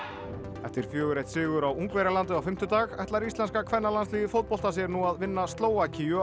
eftir fjórar til einn sigur á Ungverjalandi á fimmtudag ætlar íslenska kvennalandsliðið í fótbolta sér nú að vinna Slóvakíu á